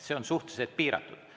See on suhteliselt piiratud.